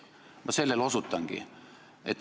Ma sellele osutangi.